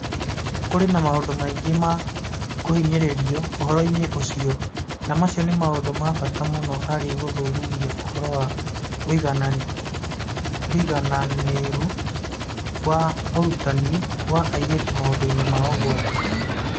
Kũrĩ na maũndũ maingĩ ma kũhinyĩrĩrio ũhoro-inĩ ũcio, na macio nĩ maũndũ ma bata mũno harĩ gũthuthuria ũhoro wa ũigananĩru wa ũrutani wa airĩtu maũndũ-inĩ ma ũgwati.